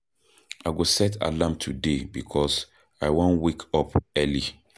I go set alarm today because I wan wake up early.